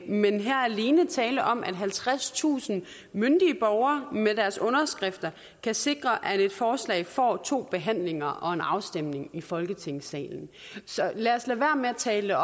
men her er alene tale om at halvtredstusind myndige borgere med deres underskrifter kan sikre at et forslag får to behandlinger og en afstemning i folketingssalen lad os lade være med at tale